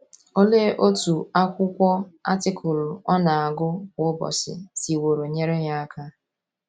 Olee otú akwụkwọ atịkụlụ ọ na - agụ kwa ụbọchị siworo nyere ya aka?